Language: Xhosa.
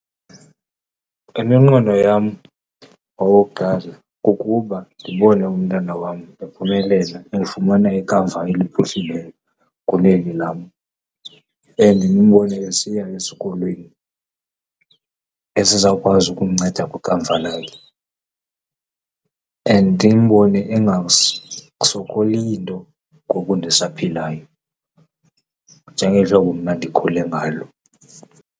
Iminqweno yam owokuqala kukuba ndibone umntana wam ephumelela, efumana ikamva eliphuhlileyo kuneli lam and ndimbone esiya esikolweni esizawuwazi ukumnceda kwikamva lakhe. And ndimbone engasokoli nto ngoku ndisaphilayo njengeli hlobo mna ndikhule ngalo.